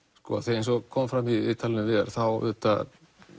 eins og kom fram í viðtalinu við Viðar þá auðvitað